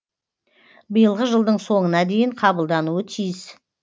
биылғы жылдың соңына дейін қабылдануы тиіс